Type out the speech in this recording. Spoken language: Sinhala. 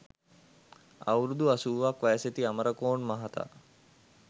අවුරුදු අසූවක් වයසැති අම‍රකෝන් මහතා